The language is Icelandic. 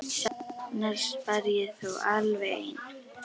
Sjaldnast var ég þó alveg ein.